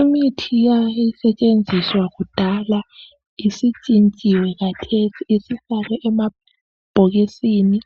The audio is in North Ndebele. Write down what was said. Imithi eyayisetshenziswa kudala isintshintshiwe khathesi isifakwe emabhokisini